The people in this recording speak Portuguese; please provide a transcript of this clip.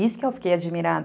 Isso que eu fiquei admirada.